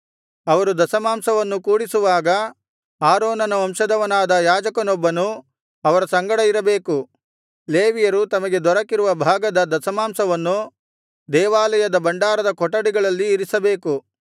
ಅವರು ದಶಮಾಂಶವನ್ನು ಕೂಡಿಸುವಾಗ ಆರೋನನ ವಂಶದವನಾದ ಯಾಜಕನೊಬ್ಬನು ಅವರ ಸಂಗಡ ಇರಬೇಕು ಲೇವಿಯರು ತಮಗೆ ದೊರಕಿರುವ ಭಾಗದ ದಶಮಾಂಶವನ್ನು ದೇವಾಲಯದ ಭಂಡಾರದ ಕೊಠಡಿಗಳಲ್ಲಿ ಇರಿಸಬೇಕು